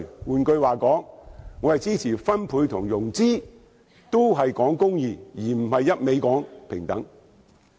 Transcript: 換言之，我支持分配和融資，也是講求公義，而不是一味講求平等。